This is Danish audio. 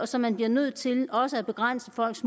så man bliver nødt til også at begrænse folks